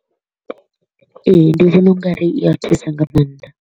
Ee, ndi vhona ungari i a thusa nga maanḓa.